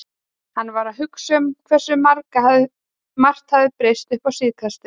Hann var að hugsa um hversu margt hafði breyst uppá síðkastið.